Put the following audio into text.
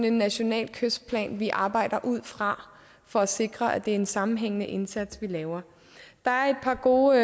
en national kystplan vi arbejder ud fra for at sikre at det er en sammenhængende indsats vi laver der er et par gode